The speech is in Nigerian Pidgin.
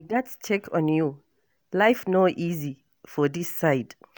I gatz check on you, life no easy for this side.